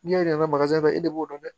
N'i y'a yir'an na e de b'o dɔn